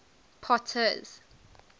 potter's